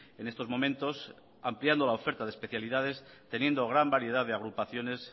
en estos momentos ampliando la oferta de especialidades teniendo gran variedad de agrupaciones